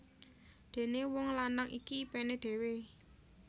Dené wong lanang iki ipené dhewé